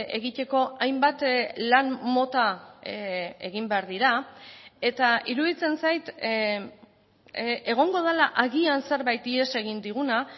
egiteko hainbat lan mota egin behar dira eta iruditzen zait egongo dela agian zerbait ihes egin diguna